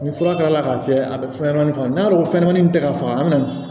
Ni fura kɛra k'a fiyɛ a bɛ fɛn kɛ n'a ko fɛnɲɛnamanin min tɛ ka faga a bɛna